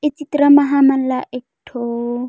ये चित्र म हमन ला एकठो--